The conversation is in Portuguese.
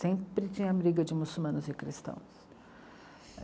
Sempre tinha briga de muçulmanos e cristãos.